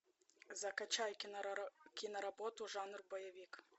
закачай кино работу жанр боевик